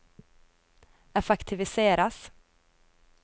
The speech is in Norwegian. effektiviseres